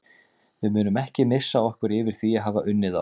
Við munum ekki missa okkur yfir því að hafa unnið þá.